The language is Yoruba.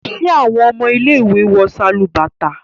ṣe awọn ọmọ ile-iwe wọ Sálúbàtà?